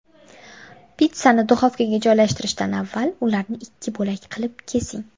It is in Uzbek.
Pitssani duxovkaga joylashtirishdan avval ularni ikki bo‘lak qilib kesing.